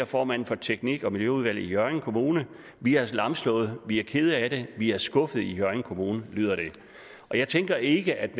formand for teknik og miljøudvalget i hjørring kommune vi er lamslået vi er kede af det vi er skuffede i hjørring kommune lyder det jeg tænker ikke at